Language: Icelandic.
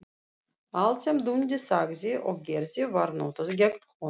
Allt sem Dundi sagði og gerði var notað gegn honum.